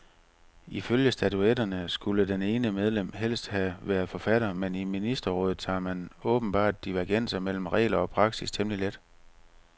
Ifølge statutterne skulle det ene medlem helst have været forfatter, men i ministerrådet tager man åbenbart divergenser mellem regler og praksis temmelig let.